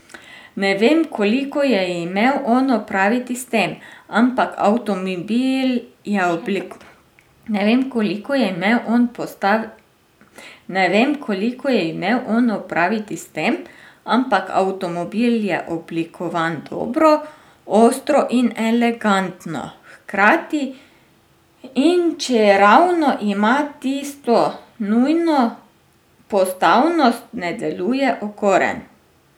Ne vem, koliko je imel on opraviti s tem, ampak avtomobil je oblikovan dobro, ostro in elegantno hkrati, in čeravno ima tisto nujno postavnost, ne deluje okoren.